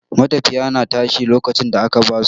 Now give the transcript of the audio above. matafiya na tashi lokacin da aka ba su.